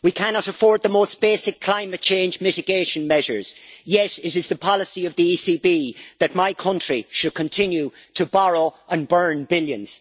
We cannot afford the most basic climate change mitigation measures, yet it is the policy of the ECB that my country should continue to borrow and burn billions.